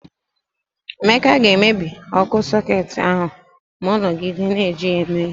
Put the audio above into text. Emeka ga-emebi ọkụ sọketi ahụ ma ọ nọgide na-eji ya eme ihe.